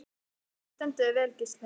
Þú stendur þig vel, Gísli!